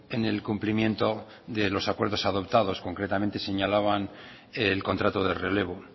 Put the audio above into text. en el cumplimiento de los acuerdos adoptados concretamente señalaban el contrato de relevo